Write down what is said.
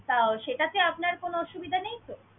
তা ও সেটাতে আপনার কোন সুবিধা নেই তো?